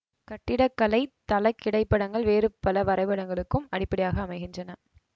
கட்டிட கலை தளக் கிடைப்படங்கள் வேறு பல வரைபடங்களுக்கும் அடிப்படையாக அமைகின்றன